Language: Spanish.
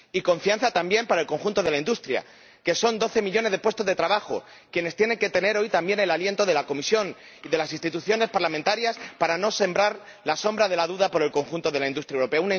Y confianza, también, para el conjunto de la industria, que representa doce millones de puestos de trabajo, que también tienen que tener hoy el aliento de la Comisión y de las instituciones parlamentarias para no sembrar dudas en el conjunto de la industria europea.